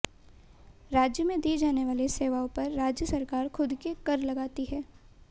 राज्य में दी जाने वाली सेवाओं पर राज्य सरकार खुद के कर लगाती है